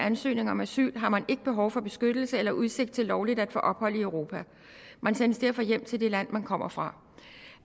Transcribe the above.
ansøgning om asyl har man ikke behov for beskyttelse eller udsigt til lovligt at få ophold i europa man sendes derfor hjem til det land man kommer fra